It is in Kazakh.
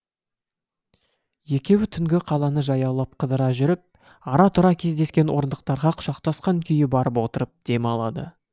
екеуі түнгі қаланы жаяулап қыдыра жүріп ара тұра кездескен орындықтарға құшақтасқан күйі барып отырып дем алады